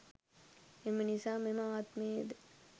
එම නිසා මෙම ආත්මයේද